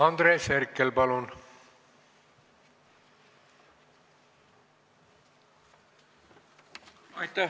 Andres Herkel, palun!